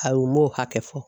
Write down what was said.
Ayi u m'o hakɛ fɔ